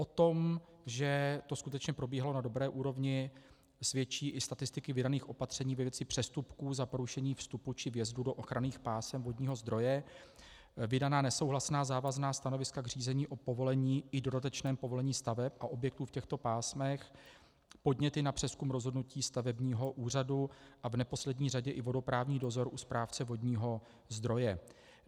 O tom, že to skutečně probíhalo na dobré úrovni, svědčí i statistiky vydaných opatření ve věci přestupků za porušení vstupu či vjezdu do ochranných pásem vodního zdroje, vydaná nesouhlasná závazná stanoviska k řízení o povolení i dodatečném povolení staveb a objektů v těchto pásmech, podněty na přezkum rozhodnutí stavebního úřadu a v neposlední řadě i vodoprávní dozor u správce vodního zdroje.